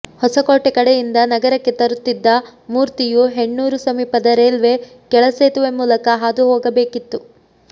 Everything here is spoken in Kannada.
ಹೊಸಕೋಟೆ ಕಡೆಯಿಂದ ನಗರಕ್ಕೆ ತರುತ್ತಿದ್ದ ಮೂರ್ತಿಯು ಹೆಣ್ಣೂರು ಸಮೀಪದ ರೈಲ್ವೆ ಕೆಳ ಸೇತುವೆ ಮೂಲಕ ಹಾದು ಹೋಗಬೇಕಿತ್ತು